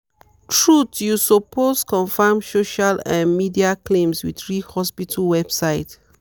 truth you supposed confirm social um media claims with real hospital website.